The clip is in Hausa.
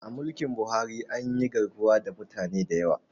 A mulkin Buhari anyi garkuwa da mutane da yawa